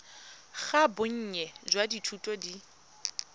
ga bonnye jwa dithuto di